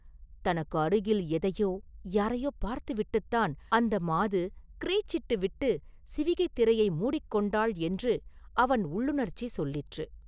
தனக்கு அருகில் எதையோ யாரையோ பார்த்துவிட்டுத்தான் அந்த மாது ‘கிறீச்’சிட்டு விட்டுச் சிவிகைத் திரையை மூடிக் கொண்டாள் என்று அவன் உள்ளுணர்ச்சி சொல்லிற்று.